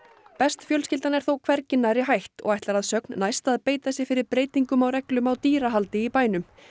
best fjölskyldan er þó hvergi nærri hætt og ætlar að sögn næst að beita sér fyrir breytingum á reglum um dýrahald í bænum